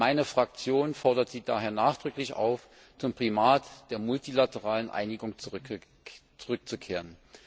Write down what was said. Meine Fraktion fordert Sie daher nachdrücklich auf, zum Primat der multilateralen Einigung zurückzukehren.